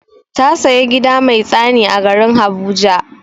Ta saya gida mai tsani a garin habuja.